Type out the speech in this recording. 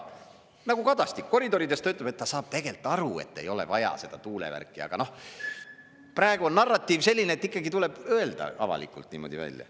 Nagu Kadastik, koridorides ta ütleb, et ta saab tegelikult ka aru, et ei ole vaja seda tuulevärki, aga noh, praegu on narratiiv selline, et ikkagi tuleb öelda avalikult välja.